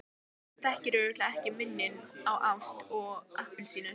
Þú þekkir örugglega ekki muninn á ást og appelsínu.